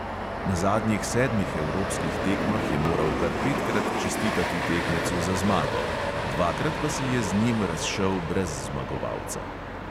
Na zadnjih sedmih evropskih tekmah je moral kar petkrat čestitati tekmecu za zmago, dvakrat pa se je z njim razšel brez zmagovalca.